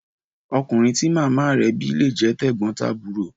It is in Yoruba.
Ọkùnrin tí màmá re bí lé jé tẹ̀gbón-tàbúro